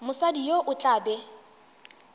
mosadi yo o tla be